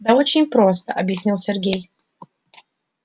да очень просто объяснил сергей